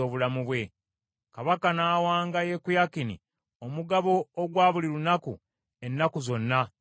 Kabaka n’awanga Yekoyakini omugabo ogwa buli lunaku ennaku zonna ez’obulamu bwe.